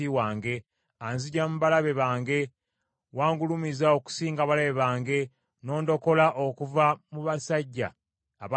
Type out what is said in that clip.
anziggya mu balabe bange. Wangulumiza okusinga abalabe bange, n’ondokola okuva mu basajja abakambwe.